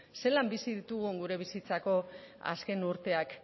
zelan bizi ditugun gure bizitzako azken urteak